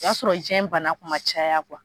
O y'a sɔrɔ diɲɛ bana kuma caya